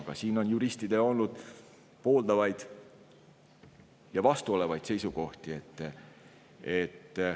Aga siin on juristidel olnud pooldavaid ja vastuolevaid seisukohti.